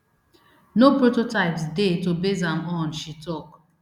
no prototypes dey to base am on she tok